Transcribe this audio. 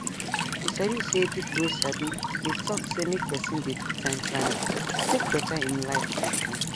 you sabi say people wey sabi dey talk say make person dey do time planning to take better im life truetrue